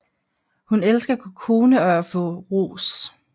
Hun elsker Kokone og at få ros